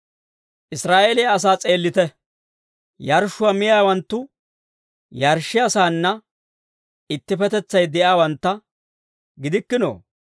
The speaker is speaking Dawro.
Israa'eeliyaa asaa s'eellite. Yarshshuwaa miyaawanttu yarshshiyaasaanna ittippetetsay de'iyaawantta gidikkinoo?